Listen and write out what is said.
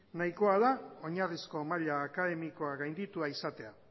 nahiko da oinarrizko maila akademikoa gainditua izatea